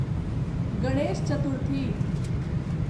Ganesh Chaturthi